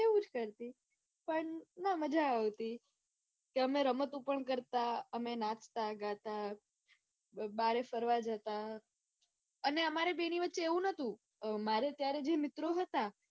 કરી પણ મજા આવતી. કે અમે રમતો પણ કરતા અમે નાચતા ગાતા બહાર ફરવા જાતા અને અમારી બેને વચ્ચે એવું કાંઈ નતું મારે જયારે તે મિત્રો હતા.